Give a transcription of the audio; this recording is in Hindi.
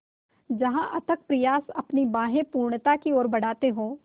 जहाँ अथक प्रयास अपनी बाहें पूर्णता की ओर बढातें हो